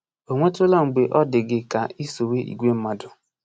O nwetụla mgbe ọ dị gị ka i sowe igwe mmadụ?